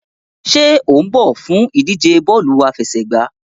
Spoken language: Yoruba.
Ṣe o n bọ fun idije bọọlu afẹsẹgba?